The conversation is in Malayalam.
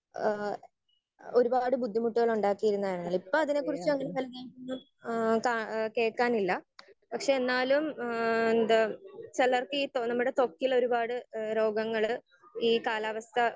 സ്പീക്കർ 1 ഏഹ് ഒരുപാട് ബുദ്ധിമുട്ടുകള് ഉണ്ടാക്കിയിരുന്നതല്ലേ? ഇപ്പൊ അതിനെ കുറിച്ച് ന്നും ഏഹ് എന്താ കേൾക്കാനില്ല. ഏഹ് പക്ഷെ എന്നാലും ഏഹ് എന്താ ചിലർക്ക് ഇപ്പൊ നമ്മുടെ ത്വക്കിലൊരുപാട് രോഗങ്ങള് ഈ കാലാവസ്ഥ